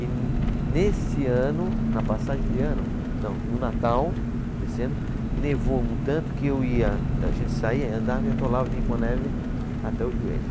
E nesse ano, na passagem de ano, não, no Natal desse ano, nevou um tanto que eu ia, a gente saía, andava, e atolava, vinha com a neve até o joelho.